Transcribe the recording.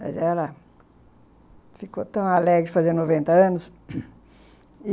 Mas ela... ficou tão alegre de fazer noventa anos